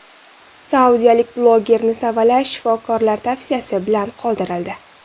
Saudiyalik blogerni savalash shifokorlar tavsiyasi bilan qoldirildi.